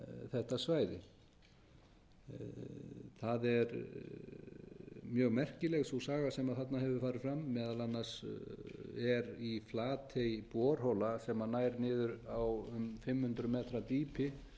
þetta svæði það er mjög merkileg sú saga sem þarna hefur farið fram meðal annars er í flatey borhola sem nær niður á um fimm hundruð metra